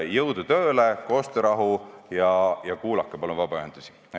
Jõudu tööle, koostöörahu ja kuulake palun vabaühendusi!